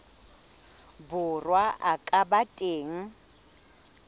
borwa a ka ba teng